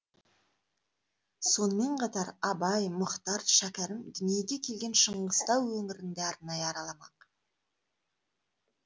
сонымен қатар абай мұхтар шәкәрім дүниеге келген шыңғыстау өңірін де арнайы араламақ